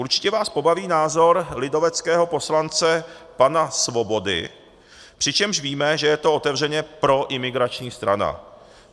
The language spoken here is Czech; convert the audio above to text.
Určitě vás pobaví názor lidoveckého poslance pana Svobody, přičemž víme, že je to otevřeně proimigrační strana.